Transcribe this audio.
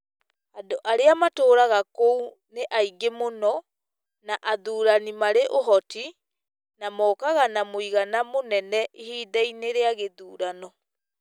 Andũ arĩa matũũraga kũu nĩ aingĩ mũno, nĩ athuurani marĩ uhoti, na mokaga na mũigana mũnene ihinda-inĩ rĩa gĩthurano.